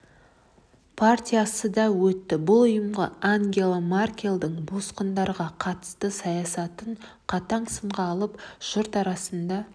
партиясы да өтті бұл ұйым ангела меркельдің босқындарға қатысты саясатын қатаң сынға алып жұрт арасында